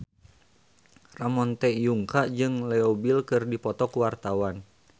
Ramon T. Yungka jeung Leo Bill keur dipoto ku wartawan